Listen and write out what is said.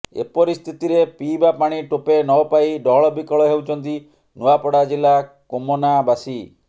ଏପରି ସ୍ଥିତିରେ ପିଇବା ପାଣି ଟୋପେ ନ ପାଇ ଡହଳବିକଳ ହେଉଛନ୍ତି ନୂଆପଡା ଜିଲା କୋମନାବାସୀ